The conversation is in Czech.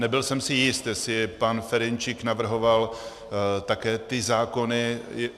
Nebyl jsem si jist, jestli pan Ferjenčík navrhoval také ty zákony...